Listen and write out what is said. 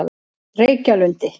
Reykjalundi